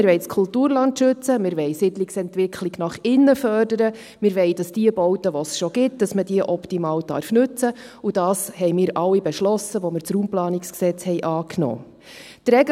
Wir wollen das Kulturland schützen, wir wollen die Siedlungsentwicklung nach innen fördern, wir wollen, dass man die Bauten, die es schon gibt, optimal nutzen darf, und dies haben wir alle beschlossen, als wir das RPG angenommen haben.